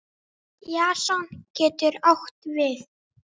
Jason getur átt við